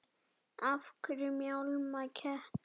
Af hverju mjálma kettir?